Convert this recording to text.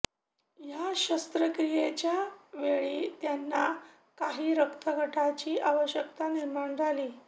या शस्त्रक्रियेच्या वेळी त्यांना काही रक्तघटकांची आवश्यकता निर्माण झाली